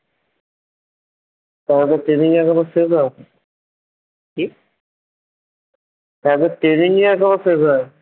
তার মানে training এখন ও শেষ হয়নি কি তাদের training ই এখনও শেষ হয়না